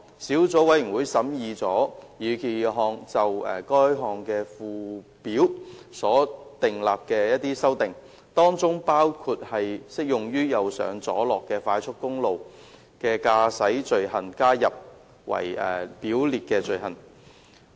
小組委員會審議了擬議決議案就該條例附表所作的修訂，當中包括把適用於"右上左落"快速公路的駕駛罪行加入為表列罪行。